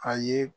A ye